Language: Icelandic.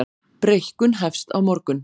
Breikkun hefst á morgun